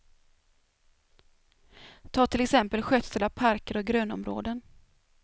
Tag till exempel skötsel av parker och grönområden.